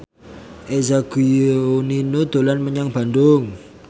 Eza Gionino dolan menyang Bandung